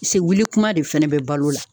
Se wuli kuma de fɛnɛ be balo la